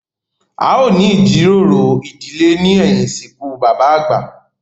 A ó ní ìjíròrò ìdílé ní ẹ̀yìn ìsìnkú bàbà àgbà